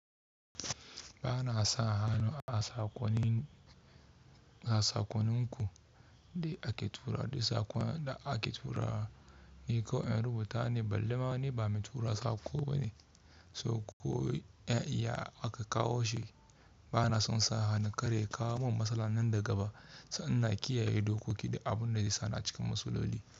Ba na son hannu a sakonni a sakonninku da ake tura, da sakona da ake tura ne, ko in rubuta ne balle ma ne ba mu tura tsako ba ne, so ko ya aka kawo shi. Ba na son sa hannu kare kawo min matsala nan daga baya, sa’an na kiyaye dokoki da abin da ya sana cikin masloli.